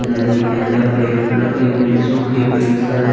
नदी के अंदर पेड़ लगे हुए है सूखे पेड़ सारे--